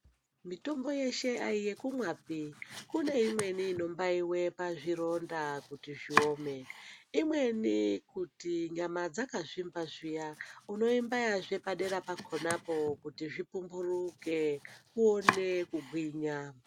Mitombo yeshe aiyekumwapi, kune imweni inombaiwe pazvironda kuti zviome, imweni kuti nyama dzakazvimba zviya unoimbaya zvee padera pakhonapo kuti zvipumburuke uone kugwinya.